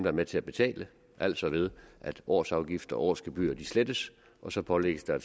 er med til at betale altså ved at årsafgift og og årsgebyr slettes og så pålægges der